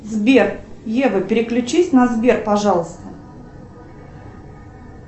сбер ева переключись на сбер пожалуйста